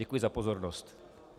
Děkuji za pozornost.